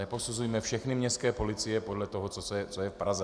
Neposuzujme všechny městské policie podle toho, co je v Praze.